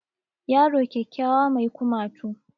Yaro kyakkyawa mai kumatu